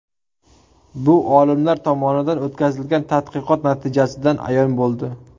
Bu olimlar tomonidan o‘tkazilgan tadqiqot natijasidan ayon bo‘ldi.